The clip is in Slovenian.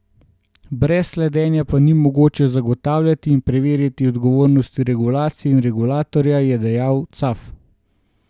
Brez slednje pa ni mogoče zagotavljati in preverjati odgovornosti regulacije in regulatorja, je dejal Caf.